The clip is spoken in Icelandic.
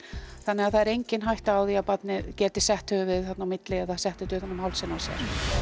þannig að það er engin hætta á því að barnið geti sett höfuðið þarna á milli eða sett þetta utan um hálsinn á sér